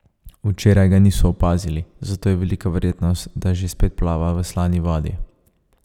Včeraj ga niso opazili, zato je velika verjetnost, da že spet plava v slani vodi.